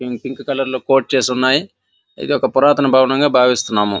Pink colour లొ చేసి వున్నాయ్ ఇది ఒక పురాతన భవనంగ బావిస్తున్నాము.